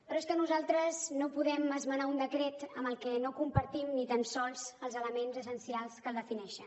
però és que nosaltres no podem esmenar un decret amb el que no compartim ni tan sols els elements essencials que el defineixen